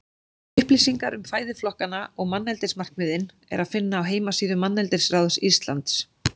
Upplýsingar um fæðuflokkana og manneldismarkmiðin er að finna á heimasíðu Manneldisráðs Íslands.